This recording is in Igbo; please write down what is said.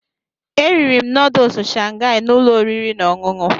Eriri m nọdụsụ Shangai na ụlọ oriri na ọṅụṅụ.